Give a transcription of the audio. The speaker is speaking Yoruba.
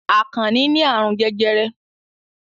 Àkànnì ní àrùn jẹjẹrẹ.